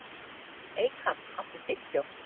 Eykam, áttu tyggjó?